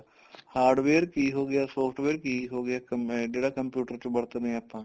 hardware ਕੀ ਹੋ ਗਿਆ software ਕੀ ਹੋ ਗਿਆ ਮੈਂ ਜਿਹੜਾ computer ਚ ਵਰਤਦੇ ਆ ਆਪਾਂ